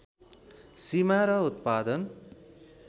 सीमा र उत्पादन